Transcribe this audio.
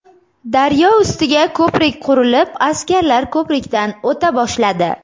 Daryo ustiga ko‘prik qurilib askarlar ko‘prikdan o‘ta boshladi.